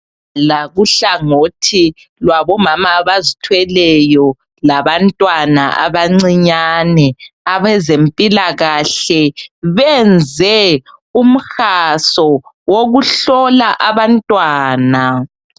Lakuhlangothi labomama abazithweleyo labantwana abancinyani abezempilakahle benze umhaso wokuhlola abantwana.